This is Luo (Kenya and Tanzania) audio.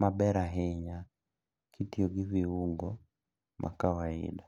maber ahinya kitiyo gi viungo ma kawaida.